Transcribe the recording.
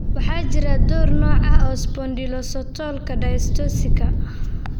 Waxaa jira dhowr nooc oo ah spondylocostalka dysostosiska.